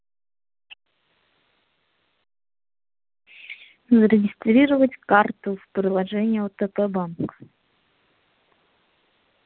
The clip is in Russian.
зарегистрировать карту в приложении отп банк